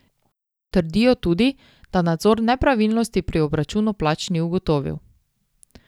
Trdijo tudi, da nadzor nepravilnosti pri obračunu plač ni ugotovil.